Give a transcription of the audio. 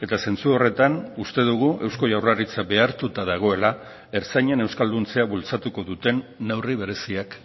eta zentzu horretan uste dugu eusko jaurlaritza behartuta dagoela ertzainen euskalduntzea bultzatuko duten neurri bereziak